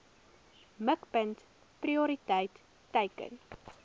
mikpunt prioriteit teiken